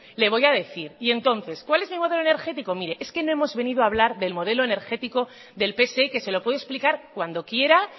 le voy a decir y entonces cuál es mi modo energético mire es que no hemos venido hablar del modelo energético del pse que se lo puedo explicar cuando quiera